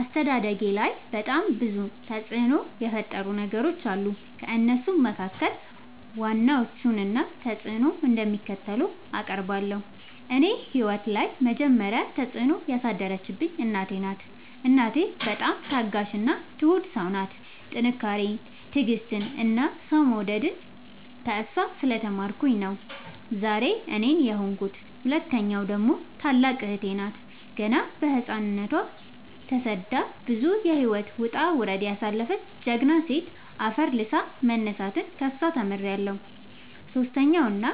አስተዳደጌላይ በጣም ብዙ ተፅዕኖ የፈጠሩ ሰዎች አሉ። ከእነሱም መካከል ዋና ዋናዎቹን እና ተፅዕኖቸው እንደሚከተለው አቀርባለሁ። እኔ ህይወት ላይ የመጀመሪ ተፅዕኖ ያሳደረችብኝ እናቴ ናት። እናቴ በጣም ታጋሽ እና ትሁት ሰው ናት ጥንካሬን ትዕግስትን እና ሰው መውደድን ከእሷ ስለ ተማርኩኝ ነው ዛሬ እኔን የሆንኩት። ሁለተኛዋ ደግሞ ታላቅ እህቴ ናት ገና በህፃንነቶ ተሰዳ ብዙ የህይወት ወጣውረድ ያሳለፈች ጀግና ሴት አፈር ልሶ መነሳትን ከሷ ተምሬለሁ። ሰሶስተኛው እና